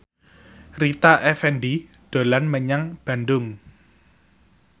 Rita Effendy dolan menyang Bandung